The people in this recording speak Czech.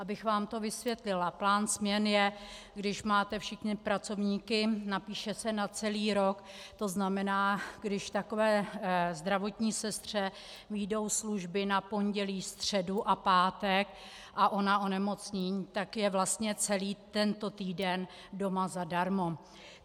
Abych vám to vysvětlila: plán směn je, když máte všechny pracovníky, napíše se na celý rok, to znamená, když takové zdravotní sestře vyjdou služby na pondělí, středu a pátek a ona onemocní, tak je vlastně celý tento týden doma zadarmo.